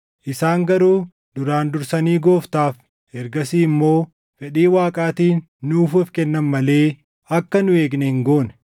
Isaan garuu duraan dursanii Gooftaaf, ergasii immoo fedhii Waaqaatiin nuuf of kennan malee akka nu eegne hin goone.